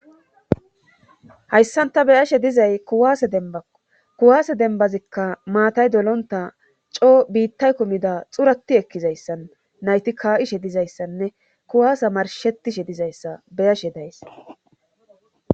Hayssanta beyashe dizay kuwase dembba kuwaase dembazikka maatay dolontta coo biittay kumida xurati ekkizayssan nayti ka'ishe dizayssanne kuwaasa marshettishe dizayssa beyashe days.